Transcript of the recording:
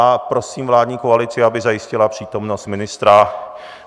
A prosím vládní koalici, aby zajistila přítomnost ministra.